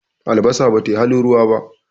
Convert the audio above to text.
albasa ba tai halin ruwa ba